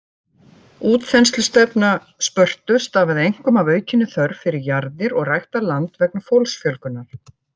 Útþenslustefna Spörtu stafaði einkum af aukinni þörf fyrir jarðir og ræktað land vegna fólksfjölgunar.